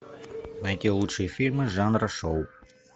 найти лучшие фильмы жанра шоу